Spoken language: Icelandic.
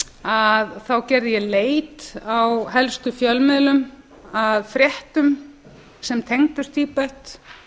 að þá gerði ég leit á helstu fjölmiðlum að fréttum sem tengdust tíbet